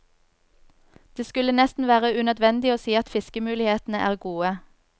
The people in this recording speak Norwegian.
Det skulle nesten være unødvendig å si at fiskemulighetene er gode.